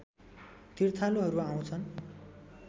तीर्थालुहरू आउँछन्